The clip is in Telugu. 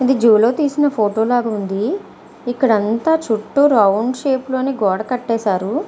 ఇది జులో తీసిన ఫోటో లాగ ఉంది ఇక్కడ అంత చుట్టూ రౌండ్ షేప్ లొని గోడ కట్టేశారు.